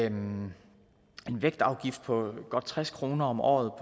en vægtafgift på godt tres kroner om året